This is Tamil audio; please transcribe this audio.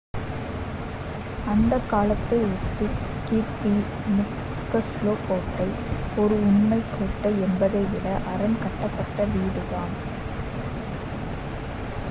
அந்த காலத்தை ஒத்து கீர்பி முக்ஸ்லோ கோட்டை ஒரு உண்மைக் கோட்டை என்பதை விட அரண் கட்டப்பட்ட வீடுதான்